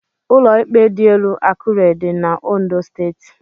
Ụlọ íkpè dịelu Akure dị n' Ondo Steeti.